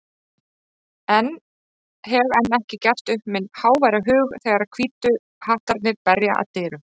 en hef enn ekki gert upp minn háværa hug þegar Hvítu hattarnir berja að dyrum.